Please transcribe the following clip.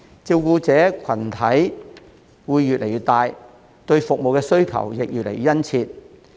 照顧者群體會越來越大，對服務需求也會越來越殷切。